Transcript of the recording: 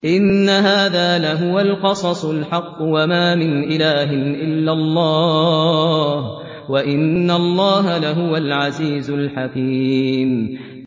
إِنَّ هَٰذَا لَهُوَ الْقَصَصُ الْحَقُّ ۚ وَمَا مِنْ إِلَٰهٍ إِلَّا اللَّهُ ۚ وَإِنَّ اللَّهَ لَهُوَ الْعَزِيزُ الْحَكِيمُ